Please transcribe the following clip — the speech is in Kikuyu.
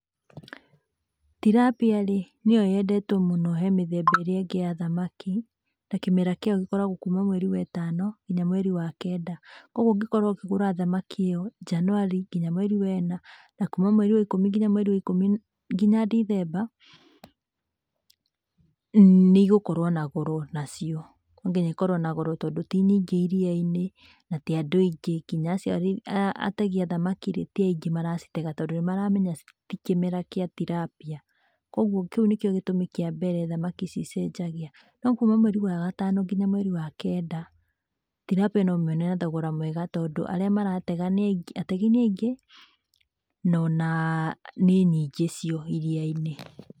Tilapia rĩ nĩyo yendetwo mũno he mĩthemba ĩrĩa ĩngĩ ya thamaki na kĩmera kĩayo gĩkoragwo kuuma mweri we tano nginya mweri wa kenda, kogwo ũngĩkorwo ũkĩgũra thamaki ĩ yo njanũari nginya mweri wa ĩna na kuuma mweri wa ikũmi nginya mweri wa ikũmi nginya Ndithemba nĩigũkorwo na goro nacio no nginya ikorwo na goro tondũ ti nyingĩ iria-inĩ na ti andũ angĩ nginya acio ategi a thamaki ti aingĩ maracitega tondũ nĩ maramenya ti kĩmera kĩa tilapia, kogwo kĩu nĩ kĩo gĩtũmi kĩa mbere thamaki cicenjagia. No kuuma mweri wa gatano nginya mweri wa kenda, tilapia no ũmĩone na thogoro mwega tondũ arĩa maratega, ategi nĩ aingĩ no o na nĩ nyingĩ cio iria-inĩ.